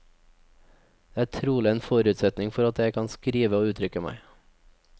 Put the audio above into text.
Det er trolig en forutsetning for at jeg kan skrive og uttrykke meg.